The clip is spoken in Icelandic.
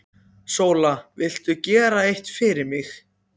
SÓLA: Viltu gera eitt fyrir mig?